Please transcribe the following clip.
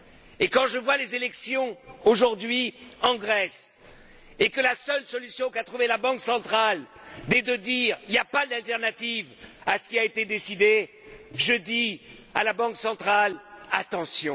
Et quand je vois les élections, aujourd'hui, en Grèce, et que la seule solution qu'a trouvée la Banque centrale est de dire Il n'y a pas d'alternative à ce qui a été décidé, je dis à la Banque centrale Attention!